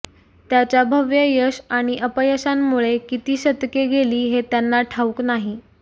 त्याच्या भव्य यश आणि अपयशांमुळे किती शतके गेली हे त्यांना ठाऊक नाही